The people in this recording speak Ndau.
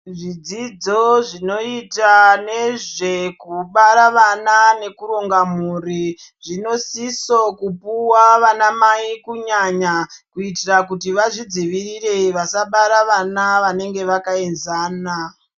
Zvidzidzo zvinoita nezvekubara vana nekuronga mhuri zvinosiso puwa ana mai kunyanya kuitira kuti vazvidziwirire vasabara vana vanenge vakaenzana.